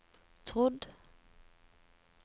trodd